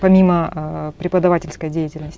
помимо ыыы преподавательской деятельности